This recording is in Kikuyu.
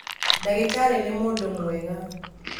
Ndagĩtarĩ nĩ mũndũ mwega